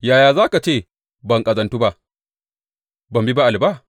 Yaya za ka ce, Ban ƙazantu ba; ban bi Ba’al ba’?